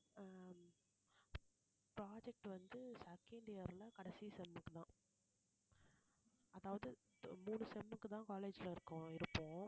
ஆஹ் project வந்து second year ல கடைசி sem தான் அதாவது இப்ப மூணு sem க்குதான் college ல இருக்கோம் இருப்போம்